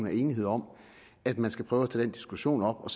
er enighed om at man skal prøve den diskussion op og